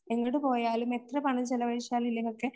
എങ്ങട് പോയാലും എത്ര പണം ചെലവഴിച്ചാലും ഇല്ലെങ്കിലുമൊക്കെ